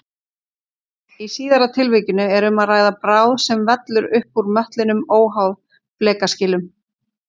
Í síðara tilvikinu er um að ræða bráð sem vellur upp úr möttlinum óháð flekaskilum.